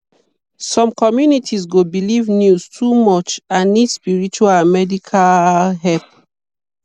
some communities go believe news too much and need spiritual and medical help.